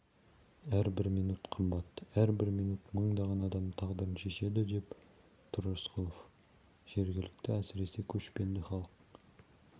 әрбір минут қымбат әрбір минут мыңдаған адамның тағдырын шешеді деп тұр рысқұлов жергілікті әсіресе көшпенді халық